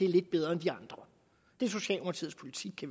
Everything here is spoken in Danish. lidt bedre end de andre det er socialdemokratiets politik